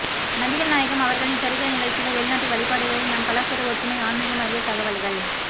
நபிகள் நாயகம் அவர்களின் சரித்திர நிகழ்ச்சிகள் வெளிநாட்டு வழிபாடுகளில் நம் கலாச்சார ஒற்றுமை ஆன்மீகம் அரிய தகவல்கள்